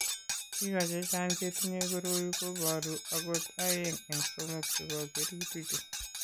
Biko chechang' chetinye koroi ko boru akot aeng' eng' somok chebo kerutichu.